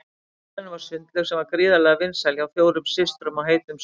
Í garðinum var sundlaug sem var gríðarlega vinsæl hjá fjórum systrum á heitum sumardögum.